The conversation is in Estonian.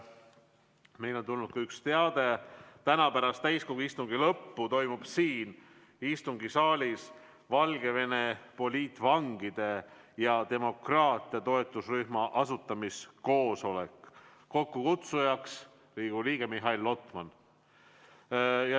Meile on tulnud üks teade: täna pärast täiskogu istungi lõppu toimub siin istungisaalis Valgevene poliitvangide ja demokraatia toetusrühma asutamiskoosolek, kokkukutsuja on Riigikogu liige Mihhail Lotman.